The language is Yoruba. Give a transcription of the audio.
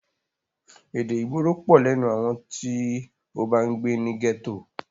Èdè ìgboro pọ̀ lẹ́nu àwọn tí o bá ń gbé ní gẹ́tò.